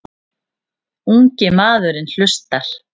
Ungi maðurinn hlustar.